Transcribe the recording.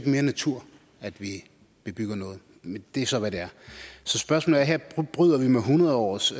mere natur at vi bygger noget men det er så hvad det er så spørgsmålet er her bryder vi med hundrede års